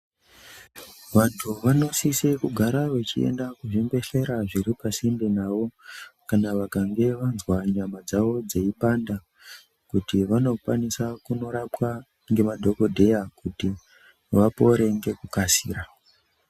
Vantu vanosise kuenda kuzvibhehlera zviripa sinde navo vakange vazwa nyama dzawo dzeipanda kuti vanokwanisa kundorapwa ngemadhokodheya kuti vapore ngekukasira.